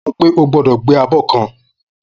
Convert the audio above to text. Mo sofún pé ogbọ́dọ̀ gbé abó kan